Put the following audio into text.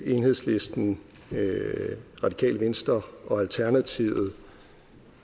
enhedslisten radikale venstre og alternativet